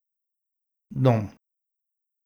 Dom!